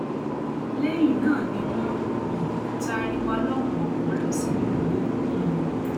lẹyìn náà ni wọn um taari wa lọpọnpọnọn lọ sínú igbó um